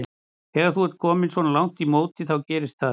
Þegar þú ert kominn svona langt í móti þá gerist það.